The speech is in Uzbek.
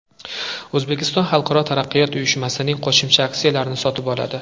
O‘zbekiston Xalqaro taraqqiyot uyushmasining qo‘shimcha aksiyalarini sotib oladi.